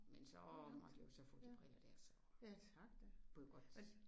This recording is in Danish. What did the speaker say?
Men så måtte jeg jo så få de briller der så kunne jeg godt